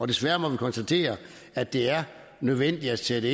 desværre må vi konstatere at det er nødvendigt at sætte